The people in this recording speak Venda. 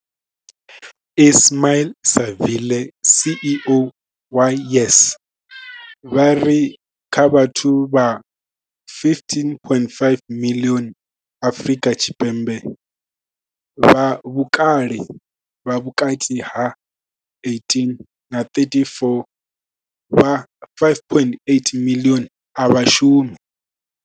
Ismail-Saville CEO wa YES, vha ri kha vhathu vha 15.5 miḽioni Afrika Tshipembe vha vhukale ha vhukati ha 18 na 34, vha 5.8 miḽioni a vha shumi.